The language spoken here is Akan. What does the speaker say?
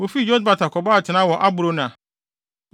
Wofii Yotbata kɔbɔɔ atenae wɔ Abrona.